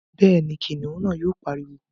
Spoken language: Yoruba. Bẹ́ẹ̀ni, kìnìún náà yóò pariwo